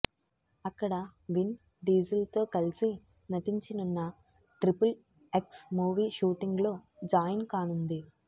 అక్కడ విన్ డీజిల్తో కలిసి నటించినున్న ట్రిపుల్ ఎక్స్ మూవీ షూటింగ్లో జాయిన్ కానుంది